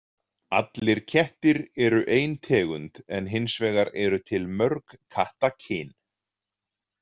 Allir kettir eru ein tegund en hins vegar eru til mörg kattakyn.